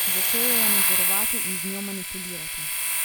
Začel jo je nadzorovati in z njo manipulirati.